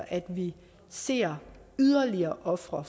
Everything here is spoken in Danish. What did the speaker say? at vi ser yderligere ofre